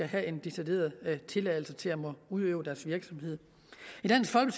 have en decideret tilladelse til at måtte udøve deres virksomhed